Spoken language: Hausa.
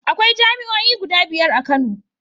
Akwai jami'oi guda biyar a Kano.